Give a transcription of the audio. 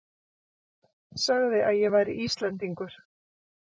Sagði að ég væri Íslendingur.